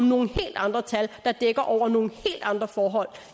nogle helt andre tal der dækker over nogle helt andre forhold